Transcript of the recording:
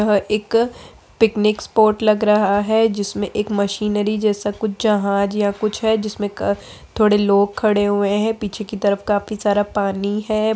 यह एक picnic spot लग रहा है जिसमें एक मशीनरी जैसा कुछ जहाज या कुछ है जिसमें क थोड़े लोग खड़े हुए है पीछे की तरफ काफी सारा पानी है।